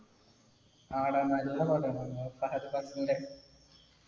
ആടാ, നല്ല പടാണ് മുഫഹദ് ഫാസിലിന്‍റെ.